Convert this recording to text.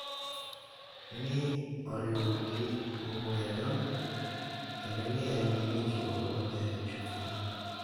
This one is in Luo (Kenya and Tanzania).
Ni oriwogi lwedo, kendo ni en gi winjruok maber e chunygi.